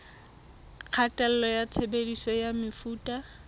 kgatello ya tshebediso ya mefuta